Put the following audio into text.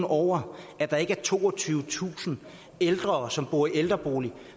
over at der ikke er toogtyvetusind ældre som bor i ældreboliger